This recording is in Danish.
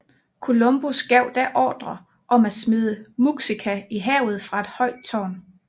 Columbus gav da ordre om at smide Muxica i havet fra et højt tårn